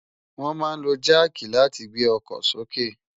Wòn má n ló jàkí làtí gbé òkò sóké